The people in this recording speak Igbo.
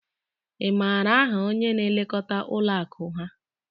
Ị maara aha onye na-elekọta ụlọ akụ ha?